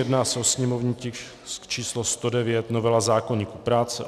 Jedná se o sněmovní tisk číslo 109, novela zákoníku práce.